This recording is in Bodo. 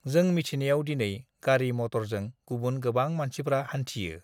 जों मिथिनायाव दिनै गारि मटरजों गुबुन गोबां मानसिफ्रा हान्थियो।